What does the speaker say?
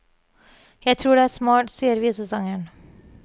Jeg tror det er smart, sier visesangeren.